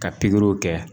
Ka pikiriw kɛ